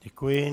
Děkuji.